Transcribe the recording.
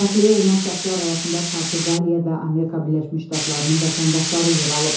Səxliyə olunan şəxslər arasında Portuqaliya və Amerika Birləşmiş Ştatlarının vətəndaşları yer alıb.